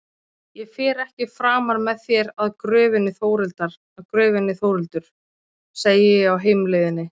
Ég fer ekki framar með þér að gröfinni Þórhildur, segi ég á heimleiðinni.